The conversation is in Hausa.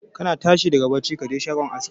Kana tashi daga bacci ka je shagon aski